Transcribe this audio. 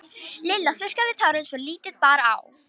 Lilla þurrkaði tárin svo lítið bar á.